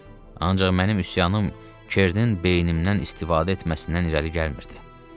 Ancaq mənim üsyanım Kernin beynimdən istifadə etməsindən irəli gəlmirdi.